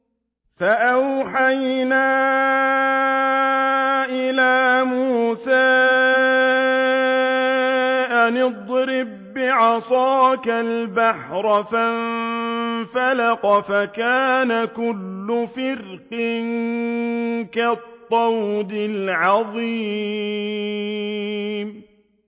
فَأَوْحَيْنَا إِلَىٰ مُوسَىٰ أَنِ اضْرِب بِّعَصَاكَ الْبَحْرَ ۖ فَانفَلَقَ فَكَانَ كُلُّ فِرْقٍ كَالطَّوْدِ الْعَظِيمِ